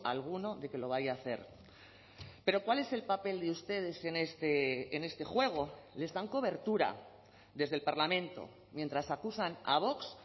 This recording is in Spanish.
alguno de que lo vaya a hacer pero cuál es el papel de ustedes en este juego les dan cobertura desde el parlamento mientras acusan a vox